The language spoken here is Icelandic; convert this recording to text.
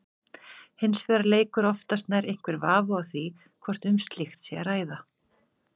Hins vegar leikur oftast nær einhver vafi á því hvort um slíkt sé að ræða.